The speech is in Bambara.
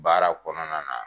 Baara kɔnɔna na.